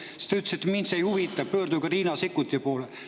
Siis te ütlesite, et teid see ei huvita, pöörduge Riina Sikkuti poole.